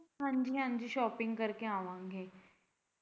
ਹਾਂਜੀ ਹਾਂਜੀ shopping ਕਰ ਕੇ ਆਵਾਂਗੇ।